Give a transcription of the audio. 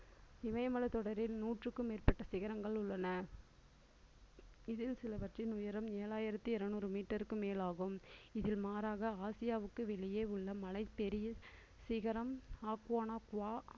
இமயமலை தொடரில் நூற்றுக்கும் மேற்பட்ட சிகரங்கள் உள்ளன இதில் சிலவற்றின் உயரம் ஏழாயிரத்தி இருநூறு meter க்கும் மேலாகும் இதில் மாறாக ஆசியாவுக்கு வெளியே உள்ள மலை பெரிய சிகரம் ஆக்குவானா குவா